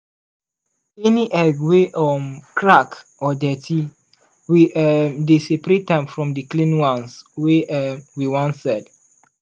any egg wey um crack or dirty we um dey separate am from the clean ones wey um we wan sell.